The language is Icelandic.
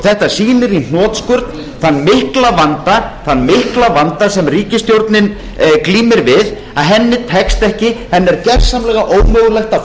þetta sýnir í hnotskurn þann mikla vanda sem ríkisstjórnin glímir við að henni tekst ekki henni er gersamlega ómögulegt að